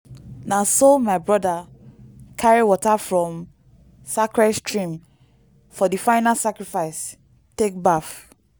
na so my broda carry water from sacred stream for di final sacrifice take baff.